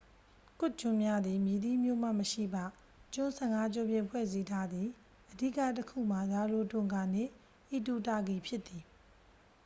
ကွတ်ကျွန်းများသည် မည်သည့်မြို့မှမရှိပ ကျွန်း 15ကျွန်းဖြင့် ဖွဲ့စည်းထားသည် အဓိကတစ်ခုမှာ ရာရိုတွန်ဂါနှင့် အီတူတာကီဖြစ်သည်